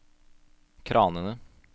kranene